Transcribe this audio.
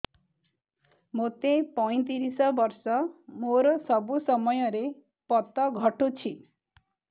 ମୋତେ ପଇଂତିରିଶ ବର୍ଷ ମୋର ସବୁ ସମୟରେ ପତ ଘଟୁଛି